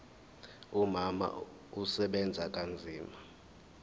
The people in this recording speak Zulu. umama usebenza kanzima